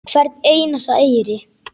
Hvern einasta eyri.